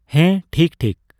ᱦᱮᱸ, ᱴᱷᱤᱠᱼᱴᱷᱤᱠ᱾